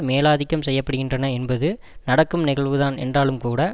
மேலாதிக்கம் செய்ய படுகின்றன என்பது நடக்கும் நிகழ்வுதான் என்றாலும்கூட